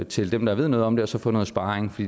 til dem der ved noget om det og så få noget sparring